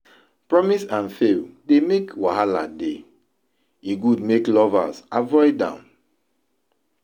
promise and fail dey make wahala dey, e good make lovers avoid am